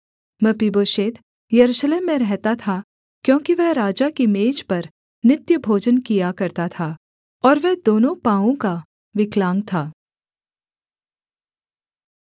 मपीबोशेत यरूशलेम में रहता था क्योंकि वह राजा की मेज पर नित्य भोजन किया करता था और वह दोनों पाँवों का विकलांग था